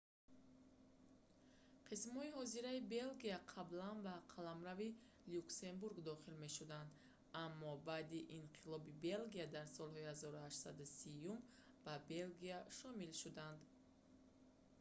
қисмҳои ҳозираи белгия қаблан ба қаламрави люксембург дохил мешуданд аммо баъди инқилоби белгия дар солҳои 1830-юм ба белгия шомил шуданд